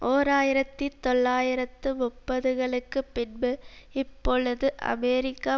ஓர் ஆயிரத்தி தொள்ளாயிரத்து முப்பதுகளுக்கு பின்பு இப்பொழுது அமெரிக்க